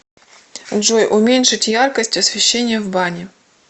джой уменьшить яркость освещения в бане